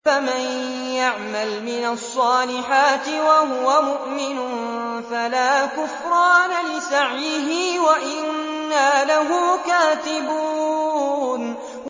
فَمَن يَعْمَلْ مِنَ الصَّالِحَاتِ وَهُوَ مُؤْمِنٌ فَلَا كُفْرَانَ لِسَعْيِهِ وَإِنَّا لَهُ كَاتِبُونَ